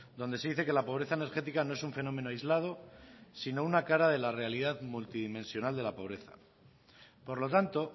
donde se dice que la pobreza energética no es un fenómeno aislado sino una cara de la realidad multidimensional de la pobreza por lo tanto